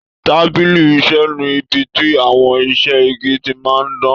Tábìlì iṣẹ ní ibí tí àwọn iṣẹ igi tí máa n dan.